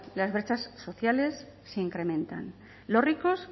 las brechas sociales se incrementan los ricos